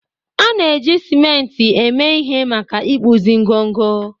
a na-eji simenti eme ihe maka ịkpụzi ngọngọ